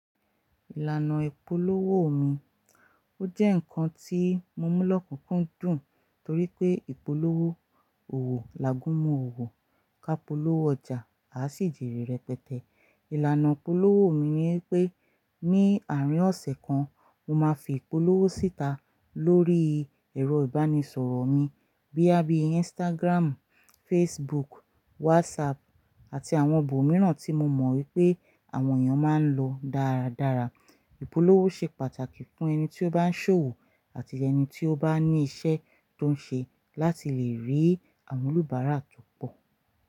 Ìlànà ìpolówó mi, ó jẹ́ nǹkan tí mo mú lọ́kùnkúndùn torí pé ìpolówó làá gúnmu òwò ká polówó ọjà a sì jèrè rẹ̀ pẹtẹpẹ. Ìlànà ìpolówó mi ni pé ní àárín ọ̀sẹ̀ kan mo máa fi ìpolówó síta lórí ẹ̀rọ ìbánisọ̀rọ̀ mi bóyá bí Instagram, Facebook, WhatsApp àti àwọn ibọ̀ mìíràn tí mo mọ̀ wípé àwọn èèyàn máa ń lò dáradára. Ìpolówó ṣe pàtàkì fún ẹni tí ó bá ń ṣòwò àti ẹni tí ó bá ní iṣẹ́ tó ń ṣe láti lè rí àwọn oníbàárà tó pọ̀.